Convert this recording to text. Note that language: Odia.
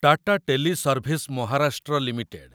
Tata teleservice Maharashtra limited